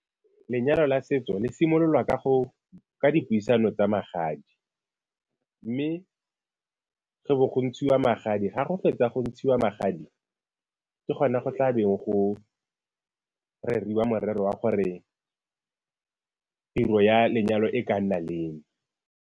Lenyalo la setso le simololwa ka dipuisano tsa magadi mme go bo go ntshiwa magadi, ga go fetsa go ntshiwa magadi, ke gona go tla beng go reriwa morero wa gore tiro ya lenyalo e ka nna leng.